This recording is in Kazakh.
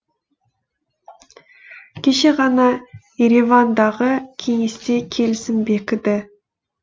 кеше ғана еревандағы кеңесте келісім бекіді